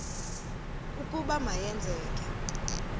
ukuba ma yenzeke